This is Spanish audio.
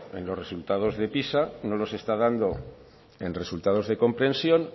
en los resultados de pisa no los está dando en resultados de comprensión